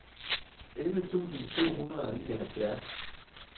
elleve tusind to hundrede og nioghalvfjerds